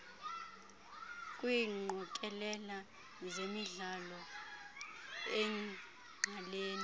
kwiingqokelela zemidlalo engqalene